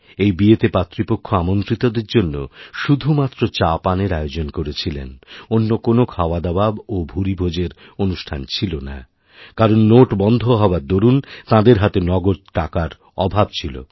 এই বিয়েতে পাত্রীপক্ষ আমন্ত্রিতদের জন্য শুধুমাত্র চা পানের আয়োজন করেছিলেন অন্যকোনও খাওয়াদাওয়া ও ভুরিভোজের অনুষ্ঠান ছিল না কারণ নোট বন্ধ হওয়ার দরুণ তাঁদেরহাতে নগদ টাকার অভাব ছিল